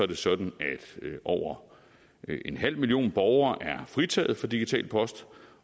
det sådan at over en halv million borgere er fritaget for digital post